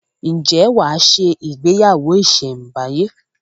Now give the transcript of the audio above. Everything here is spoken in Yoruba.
Ǹjẹ́ wà á se “ ìgbéyàwó ìsẹ̀ǹbáyé?